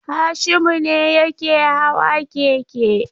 Hashimu ne yake hawa keke.